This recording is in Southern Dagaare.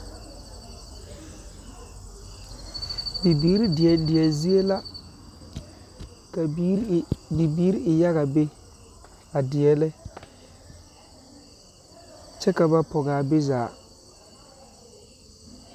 Bibiiri deɛdeɛzie la ka biiri e ja bibiiri e yaga be a deɛnɛ kyɛ ka ba pɔge a be zaa.